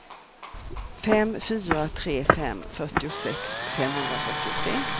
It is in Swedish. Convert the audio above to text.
fem fyra tre fem fyrtiosex femhundrafyrtiotre